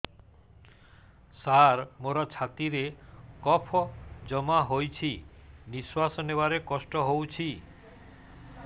ସାର ମୋର ଛାତି ରେ କଫ ଜମା ହେଇଯାଇଛି ନିଶ୍ୱାସ ନେବାରେ କଷ୍ଟ ହଉଛି